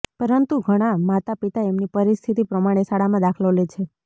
પરંતુ ઘણા માતા પિતા એમની પરિસ્થિતિ પ્રમાણે શાળામાં દાખલો લે છે